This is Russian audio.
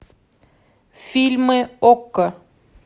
фильмы окко